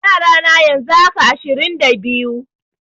Yara na yanzu haka, ashirin da biyu.